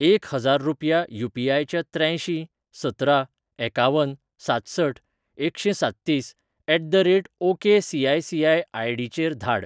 एक हजार रुपया यू.पी.आय. च्या त्र्यांयशीं सतरा एकावन सातसठ एकशेंसाततीस at the rate O K CICI ID. चेर धाड